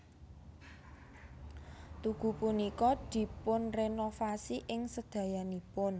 Tugu punika dipunrenovasi ing sedayanipun